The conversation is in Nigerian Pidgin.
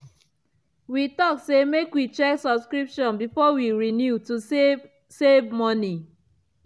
she been ask if other people dey struggle to budget when food price high.